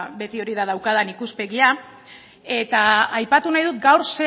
beti hori da daukadan ikuspegia eta aipatu nahi dut